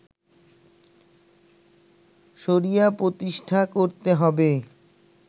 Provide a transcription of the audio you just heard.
শরিয়া প্রতিষ্ঠা করতে হবে